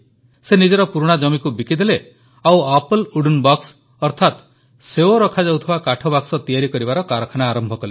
ସେ ନିଜର ପୁରୁଣା ଜମିକୁ ବିକିଦେଲେ ଓ ଆପଲ୍ ୱୁଡେନ୍ ବକ୍ସ ଅର୍ଥାତ ସେଓ ରଖାଯାଉଥିବା କାଠବାକ୍ସ ତିଆରି କରିବାର କାରଖାନା ଆରମ୍ଭ କଲେ